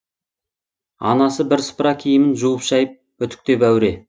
анасы бірсыпыра киімін жуып шайып үтіктеп әуре